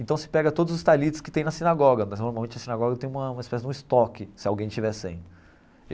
Então se pega todos os talits que tem na sinagoga, mas normalmente a sinagoga tem uma uma espécie de um estoque, se alguém tiver sem.